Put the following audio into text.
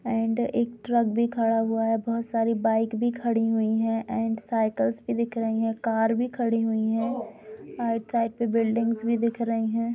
And एक truck भी खड़ा हुआ है बहुत सारी बाइक भी खड़ी हुई हैं एंड साइकिल भी दिख रहीं हैं कार भी खड़ी हुई हैं राइट साइड पे बिल्डिंग भी दिख रहीं हैं।